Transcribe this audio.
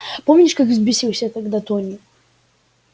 помнишь как взбесился тогда тони